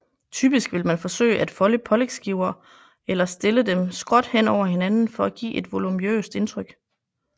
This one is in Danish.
Typisk vil man forsøge at folde pålægsskiver eller stille dem skråt hen over hinanden for at give et voluminøst indtryk